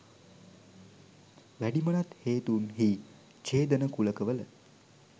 වැඩිමනත් හේතුන් හී ඡේදන කුලක වල